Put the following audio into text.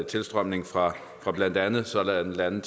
tilstrømning fra fra blandt andet sådanne lande